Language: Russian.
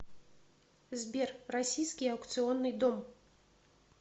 сбер российский аукционный дом